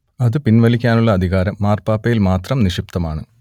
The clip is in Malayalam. അത് പിൻവലിക്കാനുള്ള അധികാരം മാർപ്പാപ്പയിൽ മാത്രം നിക്ഷിപ്തമാണ്